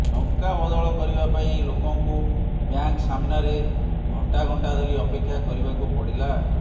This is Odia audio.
ଟଙ୍କା ବଦଳ କରିବା ପାଇଁ ଲୋକଙ୍କୁ ବ୍ୟାଙ୍କ ସାମ୍ନାରେ ଘଂଟା ଘଂଟା ଧରି ଅପେକ୍ଷା କରିବାକୁ ପଡିଲା